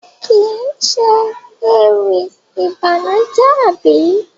Kii ṣe ewì ìbànújẹ àbí?